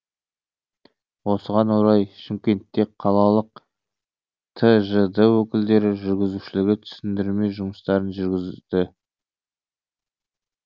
осыған орай шымкентте қалалық тжд өкілдері жүргізушілерге түсіндірме жұмыстарын жүргізді